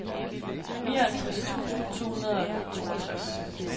nioghalvtreds tusind to hundrede og toogtres